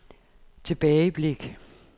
tilbageblik